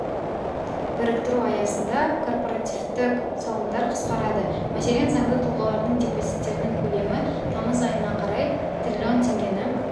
біріктіру аясында корпоративтік салымдар қысқарады мәселен заңды тұлғалардың депозиттерінің көлемі тамыз айына қарай трлн теңгені